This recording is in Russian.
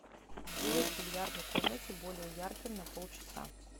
сделай в бильярдной комнате более ярким на полчаса